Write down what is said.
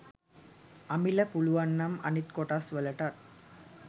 අමිල පුලුවන්නම් අනිත් කොටස් වලටත්